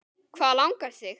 Hvað langar þig?